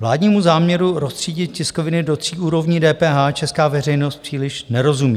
Vládnímu záměru roztřídit tiskoviny do tří úrovní DPH česká veřejnost příliš nerozumí.